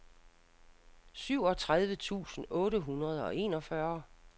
syvogtredive tusind otte hundrede og enogfyrre